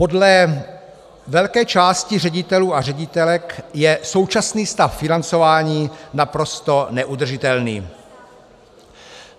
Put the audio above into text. Podle velké části ředitelů a ředitelek je současný stav financování naprosto neudržitelný.